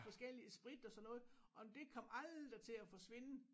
Forskellige sprit og sådan noget og det kom aldrig til at forsvinde